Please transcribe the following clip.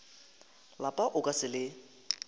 lapa o ka se le